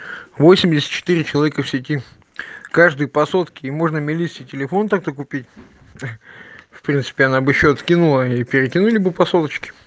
восемьдесят четыре человека в сети каждый по сотке и можно мелисе телефон так-то купить в принципе она бы ещё откинула и перекинули бы по соточке